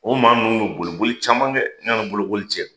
O maa ninuu bɛ boliboli caman kɛ yani bolooli cɛ.